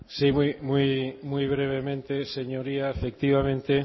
sí muy brevemente señoría efectivamente